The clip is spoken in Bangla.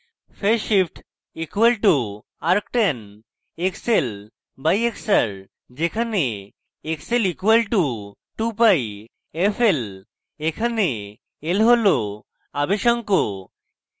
phase shift φ = arctan xl/xr যেখানে xl = 2πfl এখানে l হল আবেশাঙ্ক